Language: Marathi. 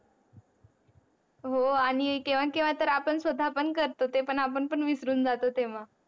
हो आणि केव्हा केव्हा तर आपण स्वता पण करतो ते पण आपण पण विसरून जातो तेव्हा